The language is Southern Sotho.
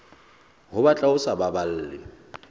ho batla ho sa baballe